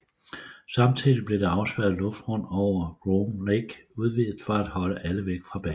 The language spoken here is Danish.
Samtidig blev det afspærrede luftrum over Groom Lake udvidet for at holde alle væk fra basen